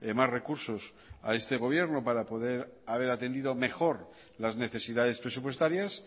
más recursos a este gobierno para poder haber atendido mejor las necesidades presupuestarias